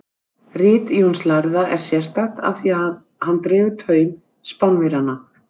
Rit Jóns lærða er sérstakt af því að hann dregur taum Spánverjanna.